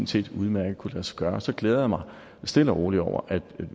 set udmærket kunnet lade sig gøre så glæder jeg mig stille og roligt over at